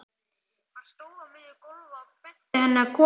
Hann stóð á miðju gólfi og benti henni að koma.